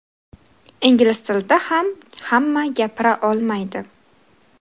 Ingliz tilida ham hamma gapira olmaydi.